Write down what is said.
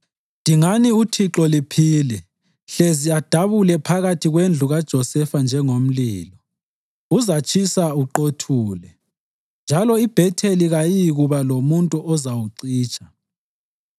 Dingani uThixo liphile hlezi adabule phakathi kwendlu kaJosefa njengomlilo; uzatshisa uqothule, njalo iBhetheli kayiyikuba lomuntu ozawucitsha.